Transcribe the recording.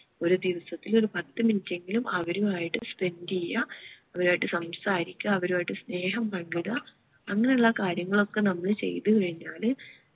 ഒരു ദിവസത്തിൽ ഒരു പത്ത് minute എങ്കിലും അവരുമായിട്ട് spend ചെയ്യാ അവരുമായിട്ട് സംസാരിക്ക അവരുമായിട്ട് സ്നേഹം പങ്കിട അങ്ങനെ ഉള്ള കാര്യങ്ങൾ ഒക്കെ നമ്മള് ചെയ്ത് കഴിഞ്ഞാല്